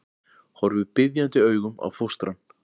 Horfir biðjandi augum á fóstrann.